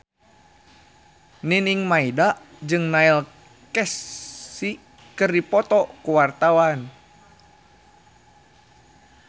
Nining Meida jeung Neil Casey keur dipoto ku wartawan